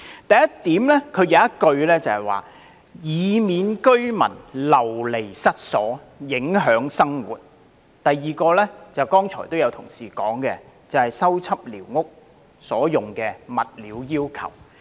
第一點載有"以免居民流離失所及影響生活"的措辭，而第二點便一如剛才有議員提到，關乎修葺寮屋所用的物料要求。